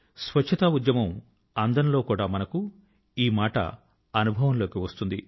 స్వచ్ఛతా ఉద్యమపు అందం లో కూడా మనకు ఈ మాట అనుభవం లోకి వస్తుంది